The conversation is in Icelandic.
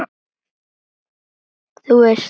Þú veist.